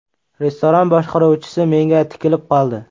Restoran boshqaruvchisi menga tikilib qoldi.